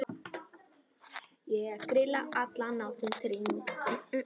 Ég grilla allan ársins hring.